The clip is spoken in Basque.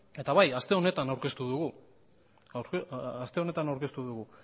eta bai aste honetan aurkeztu dugu